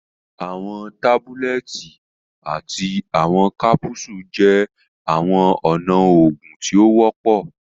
Àwọn tábúlẹ̀tì àti àwọn kápúsù jẹ́ àwọn ọ̀nà oògùn tí o wọpọ